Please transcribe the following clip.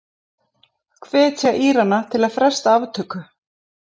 Hvetja Írana til að fresta aftöku